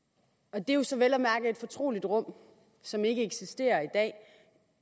og det er jo så vel at mærke et fortroligt rum som ikke eksisterer i dag